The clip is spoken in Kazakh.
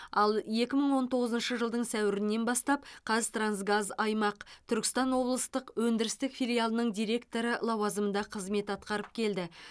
ал екі мың он тоғызыншы жылдың сәуірінен бастап қазтрансгаз аймақ түркістан облыстық өндірістік филиалының директоры лауазымында қызмет атқарып келді